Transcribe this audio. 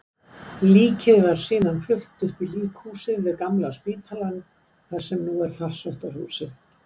Líkið var síðan flutt upp í líkhúsið við Gamla spítalann, þar sem nú er Farsóttahúsið.